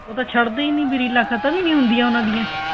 ਉਹ ਤਾਂ ਛੱਡਦੇ ਹੀ ਨਹੀਂ ਰੀਲਾਂ ਖ਼ਤਮ ਹੀ ਨਹੀਂ ਹੁੰਦੀਆਂ ਉਹਨਾ ਦੀਆਂ